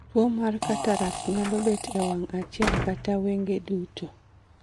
Tuwo mar cataract nyalo bet e wang' achiel kata wange duto